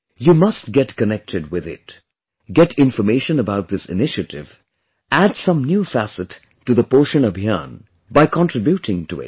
You must get connected with it, get information about this initiative, add some new facet to 'Poshan Abhiyaan' by contributing to it